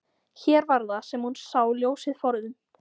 Hér var það sem hún sá ljósið forðum.